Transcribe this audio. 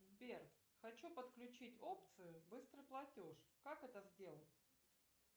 сбер хочу подключить опцию быстрый платеж как это сделать